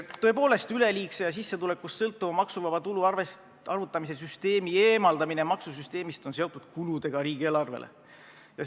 Tõepoolest, üleliigse ja sissetulekust sõltuva maksuvaba tulu arvutamise süsteemi eemaldamine maksusüsteemist on seotud riigieelarve kuludega.